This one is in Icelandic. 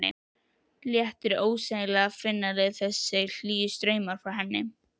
Léttir ósegjanlega að finna þessa hlýju strauma frá henni.